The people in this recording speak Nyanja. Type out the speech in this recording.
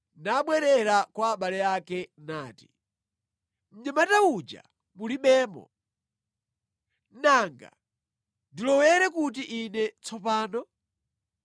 nabwerera kwa abale ake nati, “Mnyamata uja mulibemo! Nanga ndilowere kuti ine tsopano?”